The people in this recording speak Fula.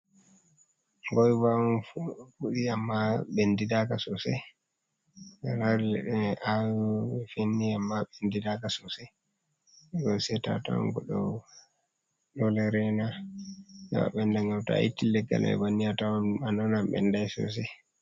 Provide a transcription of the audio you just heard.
Goiva on fuɗi amma ɓendidaka sosai alari leɗɗe mai awi finni amma ɓen didaka sosai do seta atawan goɗɗo ɗo lerena heɓa ɓenda ngam to'a itti leggala mai bannin a tawan a' nana ɓenɗi daka sosai.